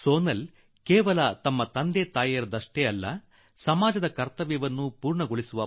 ಸೋನಾಲ್ ಕೇವಲ ತನ್ನ ತಂದೆ ತಾಯಿಗಳಿಗೆ ಮಾತ್ರವಲ್ಲದೆ ಸಮಾಜದ ಇಚ್ಛೆಗಳನ್ನೂ ಪೂರ್ಣಗೊಳಿಸುವ